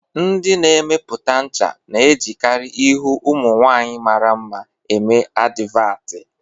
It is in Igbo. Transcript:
Ndi na-emepụta ncha na-ejikarị ihu ụmụ nwaanyị mara mma eme advatị